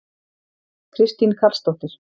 Kristín Karlsdóttir